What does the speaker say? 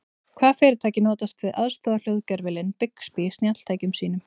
Hvaða fyrirtæki notast við aðstoðarhljóðgervilinn Bixby í snjalltækjum sínum?